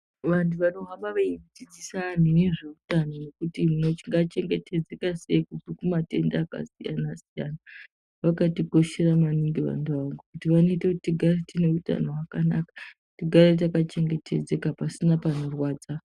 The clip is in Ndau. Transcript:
Vanhu vanohamba veidzidzisa anhu nezveutano nekuti tingachengetedzeka sei kubve kumatenda akasiyana siyana, vakatikoshera maningi vantu ava ngekuti vanoite kuti tigare tine utano hwakanaka, tigare takachengetedzeka pasina panorwadza.